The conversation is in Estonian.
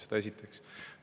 Seda esiteks.